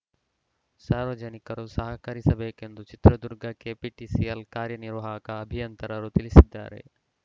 ಸಾರ್ವಜನಿಕರು ಸಹಕರಿಸಬೇಕೆಂದು ಚಿತ್ರದುರ್ಗ ಕೆಪಿಟಿಸಿಎಲ್‌ ಕಾರ್ಯನಿರ್ವಾಹಕ ಅಭಿಯಂತರರು ತಿಳಿಸಿದ್ದಾರೆ